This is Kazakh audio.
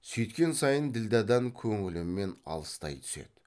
сүйткен сайын ділдәдан көңілімен алыстай түседі